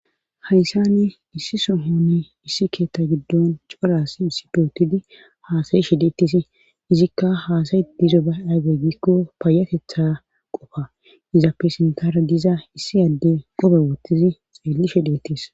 hayssani issi sohonne issi keetta giddon coras issi dootidi haasayi shideettis izikka haasayi dizo ba aybe giikko paayatetha qofa izappe sintara diza issi adde qobe woottizi xeelli she deettis